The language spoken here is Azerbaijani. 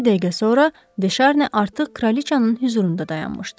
Cəmi bir dəqiqə sonra De Şarni artıq kraliçanın hüzurunda dayanmışdı.